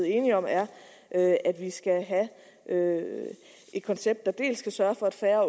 enige om er at at vi skal have et koncept der dels kan sørge for at færre